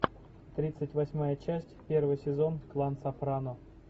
тридцать восьмая часть первый сезон клан сопрано